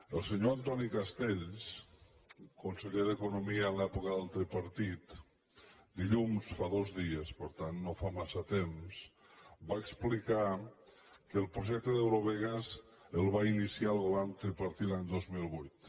el senyor antoni castells conseller d’economia en l’època del tripartit dilluns fa dos dies per tant no fa massa temps va explicar que el projecte d’eurovegas el va iniciar el govern tripartit l’any dos mil vuit